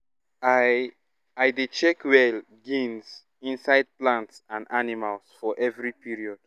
i i dey check well gains inside plants and animals for every period